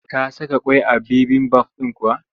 Ta saka ƙwai a bibimbaf ɗin kuwa?